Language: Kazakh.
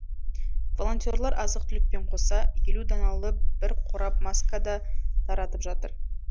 волонтерлар азық түлікпен қоса елу даналы бір қорап маска да таратып жатыр